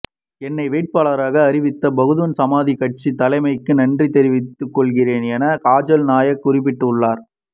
என்னை வேட்பாளராக அறிவித்த பகுஜன் சமாஜ் கட்சி தலைமைக்கு நன்றி தெரிவித்துக் கொள்கிறேன் என காஜல் நாயக் குறிப்பிட்டுள்ளார்